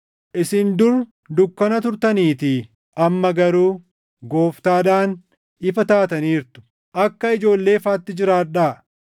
Isin dur dukkana turtaniitii; amma garuu Gooftaadhaan ifa taataniirtu. Akka ijoollee ifaatti jiraadhaa;